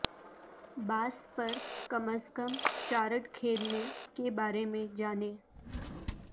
باس پر کم از کم چارڈ کھیلنے کے بارے میں جانیں